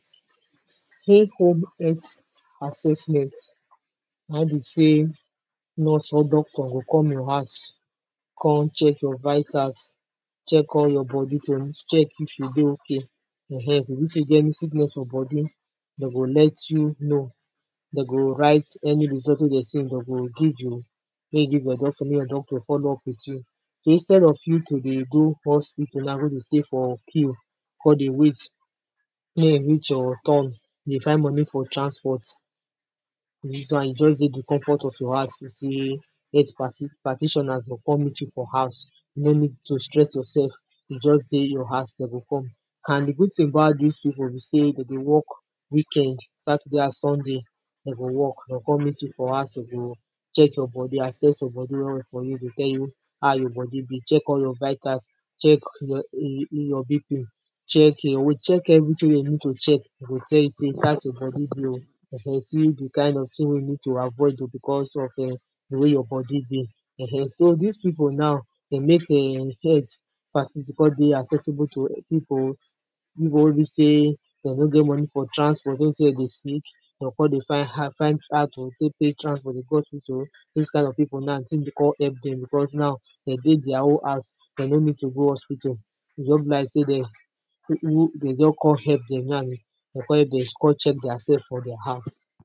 Take home health assessment na be sey nurse or doctor go come your house come check your vitals check all you body dem, check if you dey okay um, if e be sey you get any sickness for body dem go let you know. Dem go write any result wey dem, dem go give you make you give your doctor, make your doctor follow up with you, so instead of you to dey go hospital now go dey stay for queue come dey wait make e reach your turn, dey find money for transport Dis one you just dey di comfort of your house sotey health practitioners go come meet you for house No need to stress yourself, you just dey your house dem go come and di good thing about this people be sey dem dey work weekend, saturday and sunday, dem go work, dey o come meet you for house dem go check your body, assess your body well well for you go tell how your body be, check all your vitals check your bp, check your weight, check everything wey you need to check, go tell you sey see as your body be oh um see di kind of things wey you need to avoid becos of di way your body be um dis people now dey make health facility come dey accessible to people people wey be sey, dem no get money for transport wey be sey dem dey sick dem go come dey find how to take pay transport to go hospital, dis kind of people now di thing go come help dem becos now dem dey their own house, dem no need to go hospital. E just be like sey dem dem just come help dem now, dem come help dem come check theirself for their house